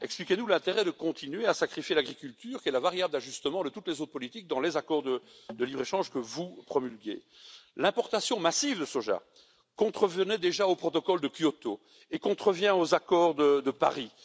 Expliquez nous l'intérêt de continuer à sacrifier l'agriculture, qui est la variable d'ajustement de toutes les autres politiques, dans les accords de libre échange que vous promulguez. L'importation massive de soja contrevenait déjà au protocole de Kyoto, et elle contrevient aux accords de Paris.